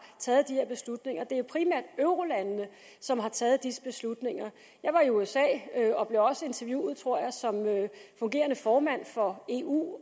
taget de her beslutninger det er primært eurolandene som har taget disse beslutninger jeg var i usa og blev også interviewet tror jeg som fungerende formand for eu og